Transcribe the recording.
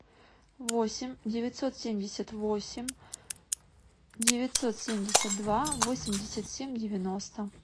восемь девятьсот семьдесят восемь девятьсот семьдесят два восемьдесят семь девяносто